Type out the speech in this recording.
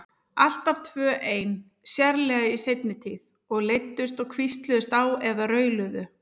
Alltaf tvö ein, sérlega í seinni tíð, og leiddust og hvísluðust á eða rauluðu.